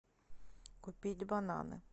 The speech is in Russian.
купить бананы